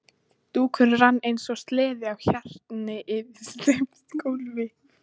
Dúkurinn rann eins og sleði á hjarni yfir steypt gólfið.